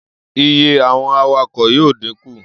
Iye àwọn awakọ̀ yóò díkù